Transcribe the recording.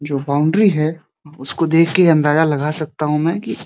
जो बाउंड्री है उसको देखके अंदाजा लगा सकता हूं मैं कि --